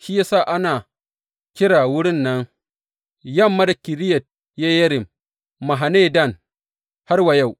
Shi ya sa a ana kira wurin nan yamma da Kiriyat Yeyarim Mahane Dan har wa yau.